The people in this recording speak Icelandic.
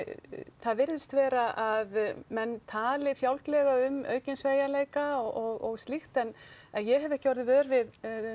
það virðist vera að menn tali fjálglega um aukinn sveigjanleika og slíkt en ég hef ekki verið vör við